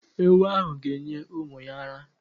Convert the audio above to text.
Ewu ahụ ga- enye ụmụ ya ara.